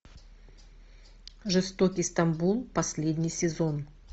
жестокий стамбул последний сезон